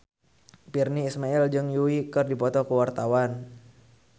Virnie Ismail jeung Yui keur dipoto ku wartawan